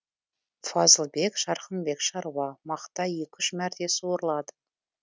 фазылбек жарқынбек шаруа мақта екі үш мәрте суарылады